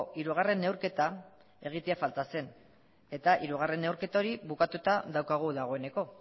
hirugarren neurketa egitea falta zen eta hirugarren neurketa hori bukatuta daukagu dagoeneko